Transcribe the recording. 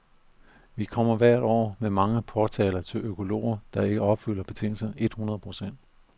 Vi kommer hvert år med mange påtaler til økologer, der ikke opfylder betingelserne et hundrede procent.